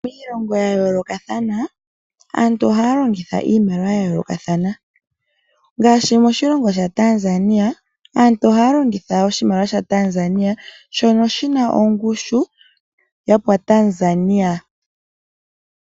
Miilongo ya yoolokathana aantu ohaya longitha iimaliwa yayoolokathana ngaashi moshilongo shaTanzania aantu ohaya longitha oshimaliwa shaTanzania shoka shina ongushu.